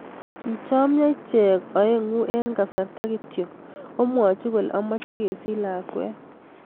Kichomio ichek aeng eng' kasarta kityo komwochi kole amache kesich lakwet.